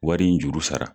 Wari in juru sara